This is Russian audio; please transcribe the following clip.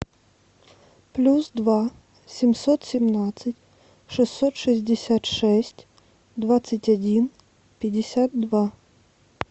плюс два семьсот семнадцать шестьсот шестьдесят шесть двадцать один пятьдесят два